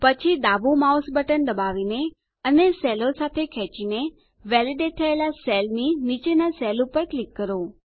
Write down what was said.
પછી ડાબુ mouse button દબાવીને અને સેલો સાથે ખેંચીને વેલીડેટ થયેલા સેલની નીચેના સેલ પર ક્લિક કરો